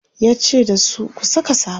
yace dasu "ku Saka safa!"